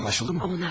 Anlaşıldı mı?